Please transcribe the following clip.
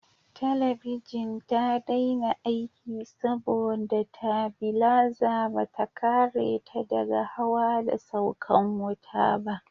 Talabijin ta daina aiki saboda tabilaza bata kare ta daga hawa da saukan wuta ba